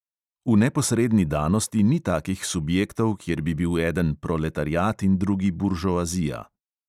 V neposredni danosti ni takih subjektov, kjer bi bil eden proletariat in drugi buržoazija.